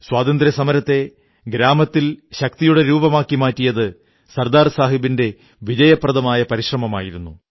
സ്വാതന്ത്ര്യസമരത്തെ ഗ്രാമത്തിൽ ശക്തിയുടെ രൂപമാക്കി മാറ്റിയത് സർദാർ സാഹബിന്റെ വിജയപ്രദമായ പരിശ്രമമായിരുന്നു